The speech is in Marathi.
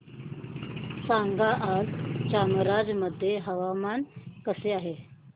सांगा आज चामराजनगर मध्ये हवामान कसे आहे